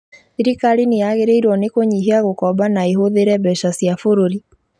Thirikari nĩyagĩrĩirwo nĩkũnyihia gũkomba na ĩhũthĩre mbeca cia bũrũri